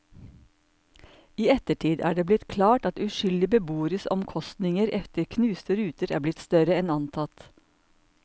I ettertid er det blitt klart at uskyldige beboeres omkostninger etter knuste ruter er blitt større enn antatt.